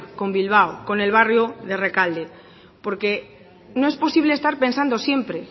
con bilbao con el barrio de rekalde porque no es posible estar pensando siempre